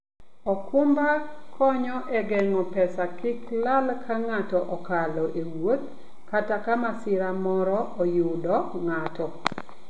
okumba konyo e geng'o pesa kik lal ka ng'ato okalo e wuoth kata ka masira moro oyudo ng'ato.